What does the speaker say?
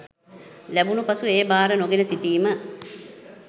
ලැබුණු පසු එය බාර නොගෙන සිටිම